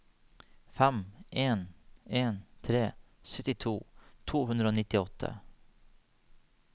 fem en en tre syttito to hundre og nittiåtte